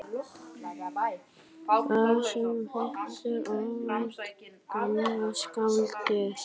Þar sem hún hittir óvænt gamla skáldið.